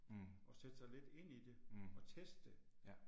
Mh. Mh. Ja